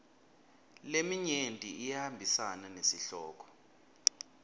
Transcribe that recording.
leminyenti iyahambisana nesihloko